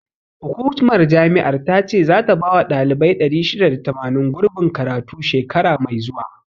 Hukumar jami'ar ta ce zata bawa ɗalibai 680, gurbin karatu, shekara mai zuwa.